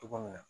Cogo min na